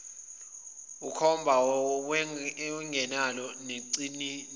emkhomba wayengenalo nelincane